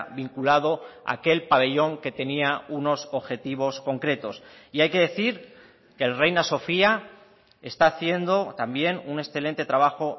vinculado a aquel pabellón que tenía unos objetivos concretos y hay que decir que el reina sofía está haciendo también un excelente trabajo